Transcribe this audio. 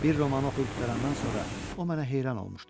Bir romanı oxuyub qurtarandan sonra o mənə heyran olmuşdu.